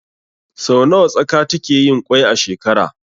Sau nawa tsaka takeyin kwai a shekara?